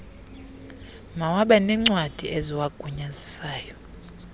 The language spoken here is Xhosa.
mawabe neencwadi eziwagunyazisayo